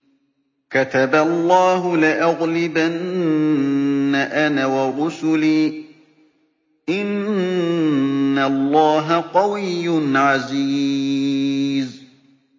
كَتَبَ اللَّهُ لَأَغْلِبَنَّ أَنَا وَرُسُلِي ۚ إِنَّ اللَّهَ قَوِيٌّ عَزِيزٌ